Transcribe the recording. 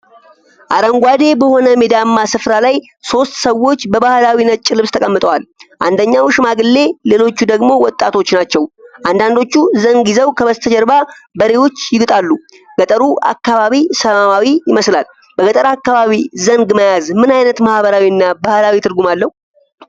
አረንጓዴ በሆነ ሜዳማ ስፍራ ላይ ሶስት ሰዎች በባህላዊ ነጭ ልብስ ተቀምጠዋል። አንደኛው ሽማግሌ፣ ሌሎቹ ደግሞ ወጣቶች ናቸው፤ አንዳንዶቹ ዘንግ ይዘው ከበስተጀርባ በሬዎች ይግጣሉ። ገጠሩ አካባቢ ሰላማዊ ይመስላል። በገጠር አካባቢ ዘንግ መያዝ ምን አይነት ማህበራዊና ባህላዊ ትርጉም አለው?